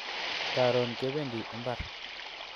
Karon kebendi imbar